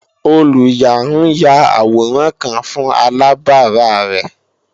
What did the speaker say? Olùyà ń ya àwòrán kan fún alàbárà rẹ̀